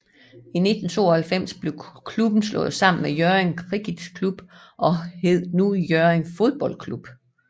I 1892 blev klubben slået sammen med Hjørring Kricketklub og hed nu Hjørring Fodboldklub